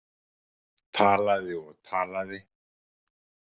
Talaði og talaði.